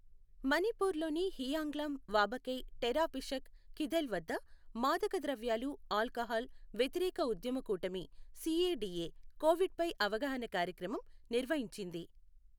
మణిపూర్లోని హియాంగ్లాం వాబగై టెరాపిషక్ కీథెల్వద్ద మాదక ద్రవ్యాలు ఆల్కహాల్ వ్యతిరేక ఉద్యమ కూటమి సిఏడిఏ కోవిడ్పై అవగాహన కార్యక్రమం నిర్వహించింది.